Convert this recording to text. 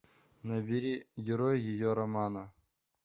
набери герой ее романа